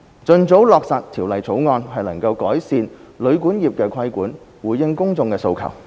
盡早落實《條例草案》，能夠改善旅館業的規管，回應公眾的訴求。